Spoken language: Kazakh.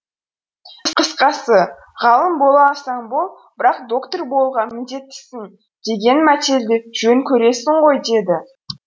қысқасы ғалым бола алсаң бол бірақ доктор болуға міндеттісің деген мәтелді жөн көресің ғой деді